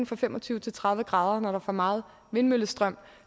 fra fem og tyve til tredive grader når der er for meget vindmøllestrøm